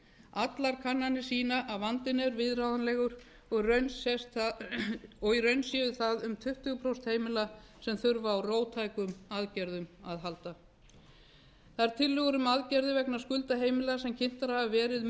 allar kannanir sýna að vandinn er viðráðanlegur og í raun séu það um tuttugu prósent heimila sem þurfa á róttækum aðgerðum að halda þær tillögur um aðgerðir vegna skulda heimila sem kynntar hafa verið